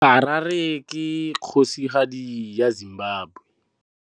Harare ke kgosigadi ya Zimbabwe.